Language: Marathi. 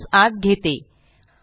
मी यास आत घेते